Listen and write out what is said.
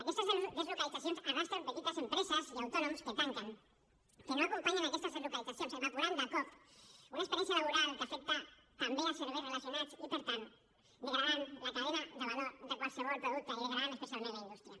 aquestes deslocalitzacions arrosseguen petites empreses i autònoms que tanquen que no acompanyen aquestes deslocalitzacions i s’evapora de cop una experiència laboral que afecta també serveis relacionats i per tant es degrada la cadena de valor de qualsevol producte i es degrada especialment la indústria